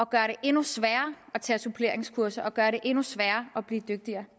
gøre det endnu sværere at tage suppleringskurser og gøre det endnu sværere at blive dygtigere og